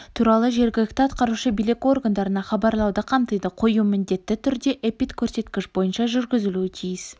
туралы жергілікті атқарушы билік органдарына хабарлауды қамтиды қою міндетті түрде эпидкөрсеткіш бойынша жүргізілуі тиіс